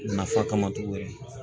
Nafa kama togo wɛrɛ